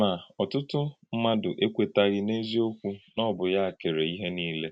Ma, ọ̀tùtụ̀ mmádụ̀ ekwètàghì n’eziokwu na ọ̀ bụ́ yá kèrè íhè niile.